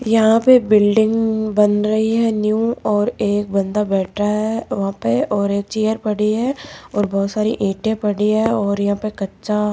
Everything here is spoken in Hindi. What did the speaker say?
यहां पे बिल्डिंग बन रही है न्यू और एक बंदा बैठा है वहां पे और एक चेयर पड़ी है और बहुत सारी ईटें पड़ी है और यहां पे कच्चा --